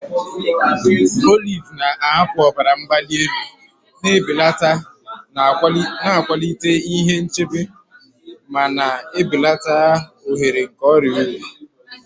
Oliv na-ahapụ ọbara mgbali elu na-ebelata, na-akwalite ihe nchebe, ma na-ebelata ohere nke ọrịa obi.